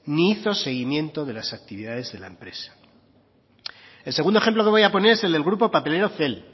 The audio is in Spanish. ni hizo el seguimiento de las actividades de la empresa el segundo ejemplo que voy a poner es el del grupo papelero cel